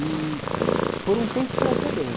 E por um tempo foi até bem.